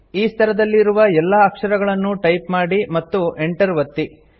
ಈ ಸ್ತರದಲ್ಲಿ ಇರುವ ಎಲ್ಲಾ ಅಕ್ಷರಗಳನ್ನೂ ಟೈಪ್ ಮಾಡಿ ಮತ್ತು Enter ಒತ್ತಿ